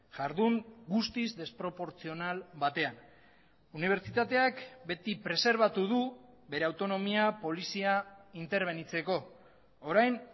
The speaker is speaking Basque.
jardun guztiz desproportzional batean unibertsitateak beti preserbatu du bere autonomia polizia interbenitzeko orain